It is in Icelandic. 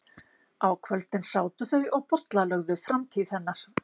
Á kvöldin sátu þau og bollalögðu framtíð hennar.